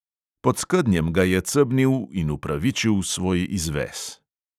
Pod skednjem ga je cebnil in upravičil svoj izves.